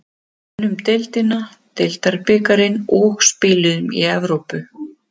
Við unnum deildina, deildabikarinn og spiluðum í Evrópu.